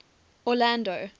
orlando